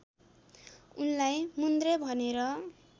उनलाई मुन्द्रे भनेर